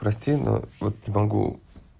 прости но вот не могу